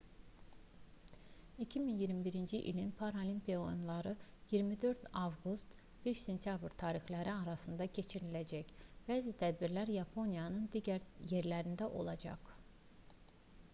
2021-ci ilin paralimpiya oyunları 24 avqust - 5 sentyabr tarixləri arasında keçiriləcək bəzi tədbirlər yaponiyanın digər yerlərində olacaq